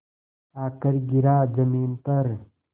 आकर गिरा ज़मीन पर